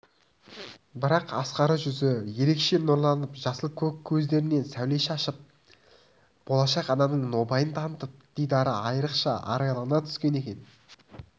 бірақ ақсары жүзі ерекше нұрланып жасыл-көк көздерінен сәуле шашырап болашақ ананың нобайын танытып дидары айрықша арайлана түскен екен